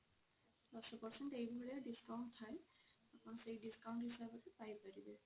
ଦଶ percent ଏଇ ଭଳିଆ discount ଥାଏ ଆପଣ ସେଇ discount ହିସାବରେ ପାଇ ପାରିବେ